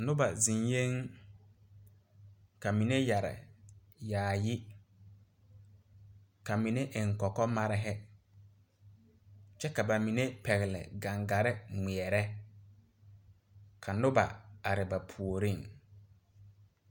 Noba zeŋyɛɛŋ ka mine yɛre yaayi ka mine eŋ kɔkɔ mare kyɛ ka ba mine pɛgle gaŋgare ŋmeɛrɛ ka noba are ba puoriŋ.